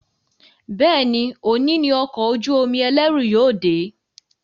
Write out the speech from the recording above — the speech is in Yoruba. Béèni òní ní Ọkọ̀ ojú-omi ẹlẹru yóò dé.